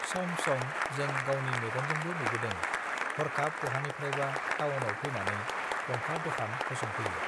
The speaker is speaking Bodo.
सम सम जों गावनि मेगनजोंबो नुबोदों हर्खाब बहानिफ्रायबा टाउनाव फैनानै गंफा दखान फसंफैयो